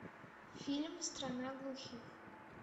фильм страна глухих